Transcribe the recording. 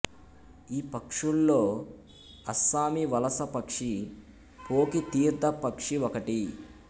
ఈ పక్షుల్లో అస్సామీ వలస పక్షి పోఖి తీర్థ పక్షి ఒకటి